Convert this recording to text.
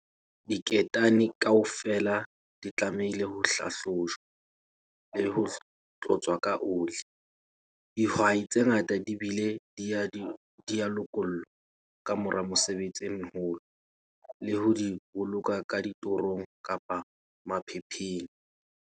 Diketane kaofela di tlamehile ho hlahlojwa le ho tlotswa ka oli. Dihwai tse ngata di bile di a di lokolla ka mora mesebetsi e meholo le ho di boloka ka ditorong kapa maphepheng.